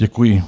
Děkuji.